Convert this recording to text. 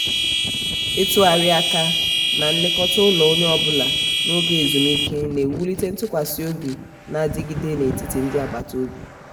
ịtugharị aka na-ilekọta ụlọ onye ọ bụla n'oge ezumike na-ewulite ntụkwasị obi na-adigide n'etiti ndi agbata obi.